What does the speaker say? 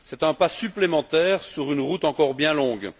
C'est un pas supplémentaire sur une route encore bien longue.